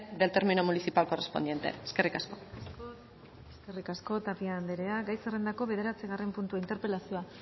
del término municipal correspondiente eskerrik asko eskerrik asko tapia anderea gai zerrendako bederatzigarren puntua interpelazioa